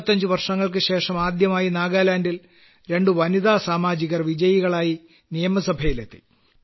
75 വർഷങ്ങൾക്കുശേഷം ആദ്യമായി നാഗാലാൻഡിൽ രണ്ടു വനിതാ സാമാജികർ വിജയികളായി നിയമസഭയിലെത്തി